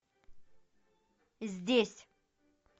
здесь